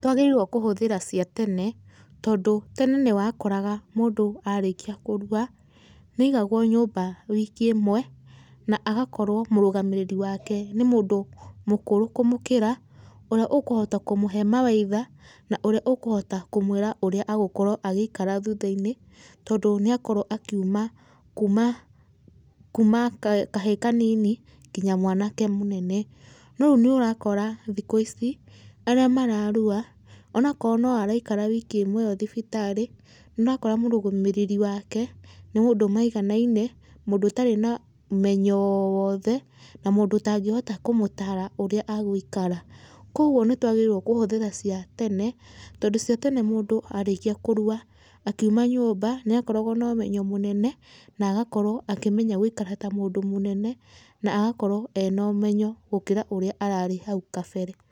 Twagĩrĩirwo kũhũthĩra cia tene, tondũ tene nĩwakoraga mũndũ arĩkia kũrua nĩ aigagwo nyũmba wiki ĩmwe, na agakorwo mũrũgamĩrĩri wake nĩ mũndũ mũkũrũ kũmũkĩra, ũrĩa ũkuhota kũmũhe mawaidha, na ũrĩa ũkũhota kũmwĩra ũrĩa agũkorwo agĩikara thutha-inĩ, tondũ nĩakorwo akiuma kuuma, kuuma, kuuma kahĩĩ kanini nginya mwanake mũnene. No rĩu nĩ ũrakora thikũ ici, arĩa mararua, onakoo no araikara wiki ĩmwe ĩyo thibitarĩ, nĩ ũrakora mũrũgamĩrĩri wake nĩ mũndũ maiganaine, mũndũ ũtarĩ na ũmenyo o wothe, na mũndũ ũtangĩhota kũmũtaara ũrĩa agũikara. Kwogwo nĩtwagĩrĩirwo kũhũthĩra cia tene, tondũ cia tene mũndũ arĩkia kũrua, akiuma nyũmba nĩ akoragwo nomenyo mũnene, na agakorwo akĩmenya gũikara ta mũndũ mũnene, na agakorwo ena ũmenyo gũkĩra ũrĩa ararĩ hau kabere.